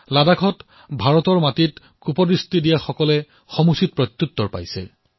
লাডাখত ভাৰতৰ ভূমিলৈ ক্ৰুৰ দৃষ্টি দিয়াসকলে উচিত প্ৰত্যুত্তৰ লাভ কৰিছে